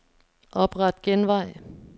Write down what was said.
Opret genvej.